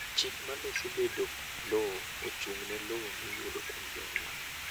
chik maloso bedo kod lowo ochung' ne lowo miyudo kuom jonyuol